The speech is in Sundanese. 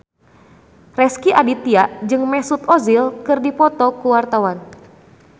Rezky Aditya jeung Mesut Ozil keur dipoto ku wartawan